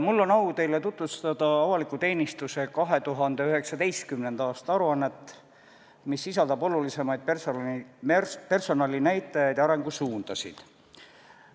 Mul on au teile tutvustada avaliku teenistuse 2019. aasta aruannet, mis sisaldab olulisemaid personalinäitajaid ja arengusuundasid.